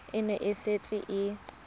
e ne e setse e